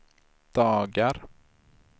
dagar